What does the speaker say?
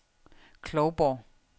Klovborg